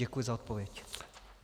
Děkuji za odpověď.